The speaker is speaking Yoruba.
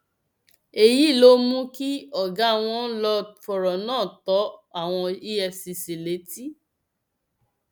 èyí ló mú kí ọgá wọn lọọ fọrọ náà tó àwọn efcc létí